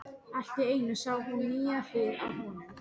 Allt í einu sá hún nýja hlið á honum.